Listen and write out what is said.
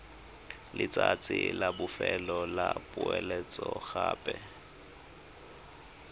letsatsi la bofelo la poeletsogape